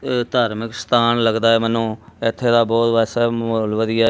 ਅ ਧਾਰਮਿਕ ਸਥਾਨ ਲੱਗਦਾ ਮੈਨੂੰ ਇੱਥੇ ਦਾ ਬਹੁਤ ਵੈਸੇ ਮਾਹੌਲ ਵਧੀਆ।